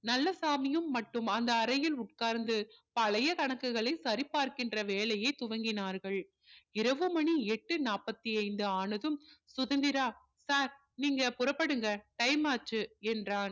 நல்லசாமியும் மட்டும் அந்த அறையில் உட்கார்ந்து பழைய கணக்குகளை சரி பார்க்கின்ற வேலையை துவங்கினார்கள் இரவு மணி எட்டு நாப்பதி ஐந்து ஆனதும் சுதந்திரா sir நீங்க புறப்படுங்க time ஆச்சு என்றான்